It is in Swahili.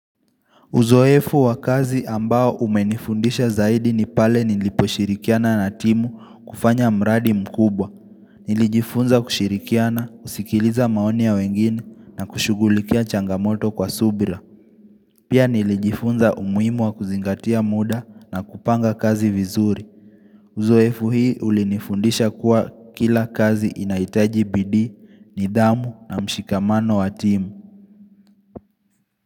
Uzoefu wa kazi ambao umenifundisha zaidi ni pale niliposhirikiana na timu kufanya mradi mkubwa. Nilijifunza kushirikiana, kusikiliza maoni ya wengine na kushughulikia changamoto kwa subira. Pia nilijifunza umuhimu wa kuzingatia muda na kupanga kazi vizuri. Uzoefu hii ulinifundisha kuwa kila kazi inahitaji bidii, nidhamu na mshikamano wa timu.